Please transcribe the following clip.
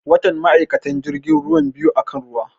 Watan ma'aikatan jirgin ruwan biyu akan ruwa